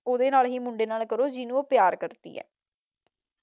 ਉਹਦੇ ਨਾਲ ਹੀ ਮੁੰਡੇ ਨਾਲ ਕਰੋ ਜਿਹਨੁ ਉਹ ਪਿਆਰ ਕਰਦੀ ਹੈ